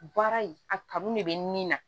Baara in a kanu de be nin na